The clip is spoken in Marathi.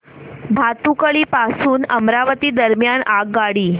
भातुकली पासून अमरावती दरम्यान आगगाडी